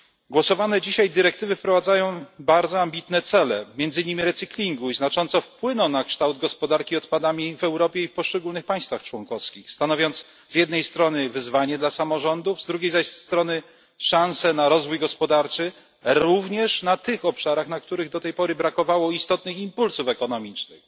Dyrektywy, nad którymi dzisiaj głosujemy, wprowadzają bardzo ambitne cele, między innymi recyklingu, i znacząco wpłyną na kształt gospodarki odpadami w Europie i w poszczególnych państwach członkowskich, stanowiąc z jednej strony wyzwanie dla samorządów, z drugiej zaś szansę na rozwój gospodarczy, również na tych obszarach, na których do tej pory brakowało istotnych impulsów ekonomicznych.